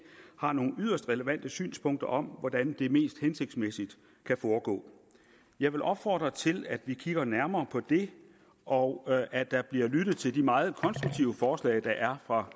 har nogle yderst relevante synspunkter om hvordan det mest hensigtsmæssigt kan foregå jeg vil opfordre til at vi kigger nærmere på det og at der bliver lyttet til de meget konstruktive forslag der er fra